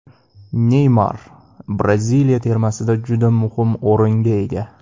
Neymar Braziliya termasida juda muhim o‘ringa ega.